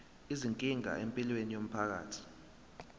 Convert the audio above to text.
izinkinga empilweni yomphakathi